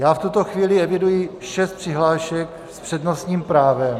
Já v tuto chvíli eviduji šest přihlášek s přednostním právem.